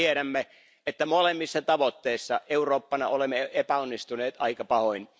Me tiedämme, että molemmissa tavoitteissa Eurooppana olemme epäonnistuneet aika pahoin.